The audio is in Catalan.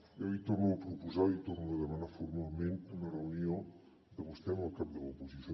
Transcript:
jo li torno a proposar li torno a demanar formalment una reunió de vostè amb el cap de l’oposició